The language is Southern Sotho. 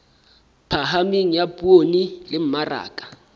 phahameng ya poone le mmaraka